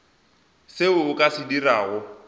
seo o ka se dirago